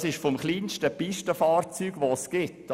Das stammt vom kleinsten Pistenfahrzeug, das es gibt.